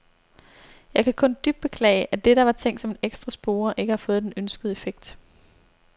Jeg kan kun dybt beklage, at det, der var tænkt som en ekstra spore, ikke har fået den ønskede effekt.